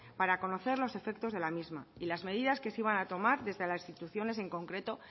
para conocer los efectos de la misma y las medidas que se iban a tomar desde las instituciones en concreto